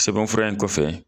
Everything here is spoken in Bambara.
Sɛbɛnfura in kɔfɛ